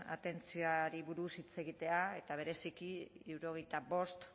atentzioari buruz hitz egitea eta bereziki hirurogeita bost